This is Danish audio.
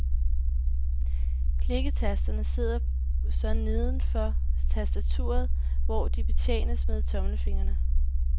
Klikketasterne sidder så nedenfor tastaturet, hvor de betjenes med tommelfingrene.